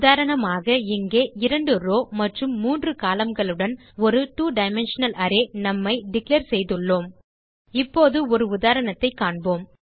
உதாரணமாக இங்கே 2 ரோவ் மற்றும் 3 columnகள் உடன் ஒரு 2 டைமென்ஷனல் அரே நும் ஐ டிக்ளேர் செய்துள்ளோம் இப்போது ஒரு உதாரணத்தைக் காண்போம்